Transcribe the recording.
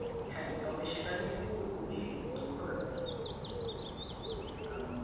হ্যাঁ, তবে সেটা কিন্তু খুবই দুরূহ ব্যাপার। কারণ